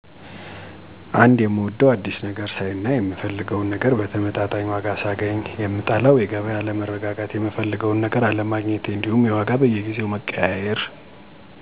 1, የምወደው፦ አዳዲስ ነገር ሳይ እና የምፈልገውን ነገር በተመጣጣኝ ዋጋ ሳገኝ, የምጠለው:-የገቢያ አለመረጋጋት፣ የምፈልገውን ነገር አለሜግኘቴ እንዲሁም የዋጋ በየጊዜው መቀያየር። 2, በገቢያው ግርግር፦ አስጨናቂ ይሆንብኛል። 3, አወ የተሻሉ ናቸው ነገር ግን ቢስተካከል የተሻለ የሚሆነው፦ የገበያ መረጋጋት ቢኖር፣ በአቅራቢያ ቢገኙ እንዲሁም ዘመናዊ ቢሆኑ።